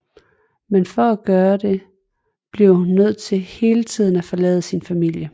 Men for at gøre det bliver hun nødt til hele tiden at forlade sin familie